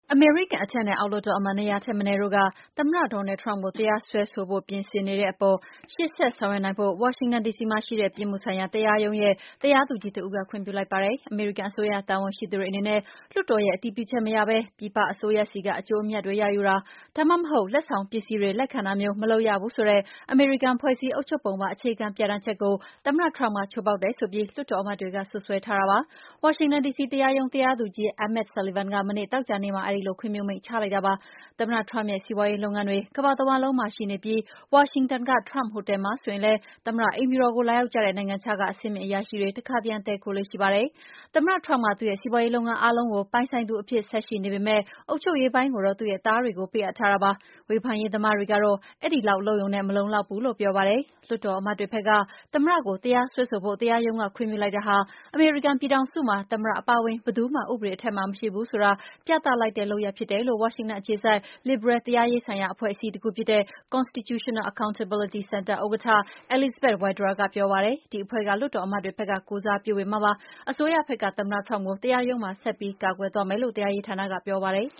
အမေရိကန် အထက်နဲ့အောက် လွှတ်တော်အမတ် ၂၀၀ ထက်မနည်းက သမ္မတ Donald Trump ကို တရားစွဲ ဆိုဖို့ ပြင်ဆင်နေတဲ့အပေါ် ရှေ့ဆက် ဆောင်ရွက်နိုင်ဖို့ ဝါရှင်တန် ဒီစီမှာရှိတဲ့ ပြစ်မှု ဆိုင်ရာ တရားရုံးရဲ့ တရားသူကြီးတဦးက ခွင့်ပြုလိုက်ပါတယ်။ အမေရိကန်အစိုးရတာဝန်ရှိသူတွေအနေနဲ့ လွတ်တော်ရဲ့ အတည်ပြုချက်မရဘဲ ပြည်ပအစိုးရဆီက အကျိုး အမြတ်တွေရယူတာ၊ ဒါမှမဟုတ် လက်ဆောင်ပစ္စည်းတွေလက်ခံတာမျိုးကို မလုပ်ရဘူးဆိုတဲ့ အမေရိကန် ဖွဲ့စည်းအုပ်ချုပ်ပုံပါ အခြေခံပြဌာန်းချက်ကို သမ္မတ Trump က ချိုးဖောက်တယ်ဆိုပြီး လွှတ်တော်အမတ်တွေက စွပ်စွဲထားပါတယ်။ ဝါရှင်တန်ဒီစီ တရားရုံး တရားသူကြီး Emmet Sullivan က မနေ့ သောကြာနေ့မှာ အဲဒီလို ခွင့်ပြုမိန့်ချလိုက်တာပါ။ သမ္မတ Trump ရဲ့စီးပွါးရေးလုပ်ငန်းတွေ ကမ္ဘာတဝှမ်းလုံးမှာ ရှိနေပြီး ဝါရှင်တန်က Trump ဟိုတယ် မှာ ဆိုရင် လည်း သမ္မတ အိမ်ဖြူတော်ကို လာရောက်ကြတဲ့ နိုင်ငံခြားက အဆင့်မြင့်အရာရှိတွေ တခါတရံ တည်းခိုလေ့ ရှိပါတယ်။ သမ္မတ Trump က သူ့ရဲ့စီးပွါးရေးလုပ်ငန်းအားလုံးကို ပိုင်ဆိုင်သူ အဖြစ် ဆက်ရှိနေပေမယ့် အုပ်ချုပ်ရေးပိုင်းကိုတော့ သူ့ရဲ့သားတွေကို ပေးအပ်ထားတာပါ။ ဝေဖန်ရေးသမားတွေကတော့ အဲဒီလောက် လုပ်ရုံနဲ့ မလုံလောက်ဘူးလို့ ပြောပါတယ်။ လွှတ်တော်အမတ်တွေဘက်က သမ္မတကို တရားစွဲဆိုဖို့ တရားရုံးက ခွင့်ပြုလိုက်တာဟာ အမေရိကန် ပြည် ထောင်စုမှာ သမ္မတ အပါအဝင် ဘယ်သူမှ ဥပဒေအထက်မှာ မရှိဘူးဆိုတာ ပြသလိုက်တဲ့ လုပ်ရပ် ဖြစ်တယ်လို့ ဝါရှင်တန်အခြေစိုက် လစ်ဘရယ် တရားရေးဆိုင်ရာ အဖွဲ့အစည်းတခုဖြစ်တဲ့ Constitutional Accountability Center ဥက္ကဋ္ဌ Elizabeth Wydra က ပြောပါတယ်။ ဒီအဖွဲ့က လွှတ်တော်အမတ်တွေဘက်က ကိုယ်စားပြုပေးမှာဖြစ်ပါတယ်။ အစိုးရဘက်ကသမ္မတ Trump ကို တရားရုံးမှာ ဆက်ပြီး ကာကွယ်သွားမယ်လို့ တရားရေးဌာနကပြောပါတယ်